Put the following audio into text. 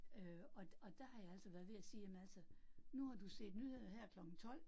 Øh og og der har jeg altså været ved at sige, jamen altså nu har du set nyheder her klokken 12